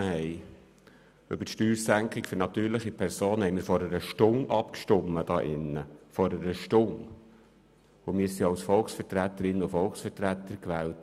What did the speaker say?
Die Steuersenkung für natürliche Personen haben wir hier im Grossen Rat vor einer Stunde abgelehnt, und wir sind als Volksvertreterinnen und Volksvertreter gewählt.